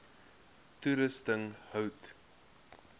toerusting hout